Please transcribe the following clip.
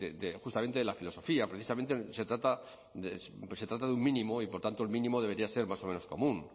de justamente de la filosofía precisamente se trata de un mínimo y por tanto el mínimo debería ser más o menos común